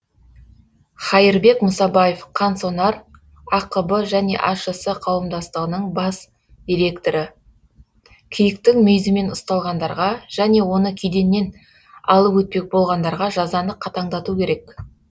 хаирбек мұсабаев қансонар ақб және ашс қауымдастығының бас директоры киіктің мүйізімен ұсталғандарға және оны кеденнен алып өтпек болғандарға жазаны қатаңдату керек